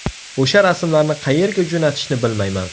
O‘sha rasmlarni qayerga jo‘natishdi bilmayman.